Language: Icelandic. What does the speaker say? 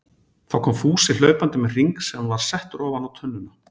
Þá kom Fúsi hlaupandi með hring sem var settur ofan á tunnuna.